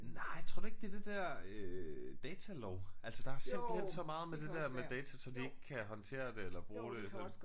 Nej tror du ikke det er det der øh datalov altså der er simpelthen så meget med det der med data som de ikke kan håndtere det eller bruge det